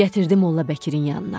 Gətirdi Molla Bəkirin yanına.